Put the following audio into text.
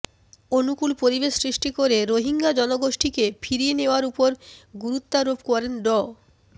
অনুকূল পরিবেশ সৃষ্টি করে রোহিঙ্গা জনগোষ্ঠীকে ফিরিয়ে নেয়ার ওপর গুরুত্বারোপ করেন ড